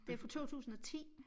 Det fra 2010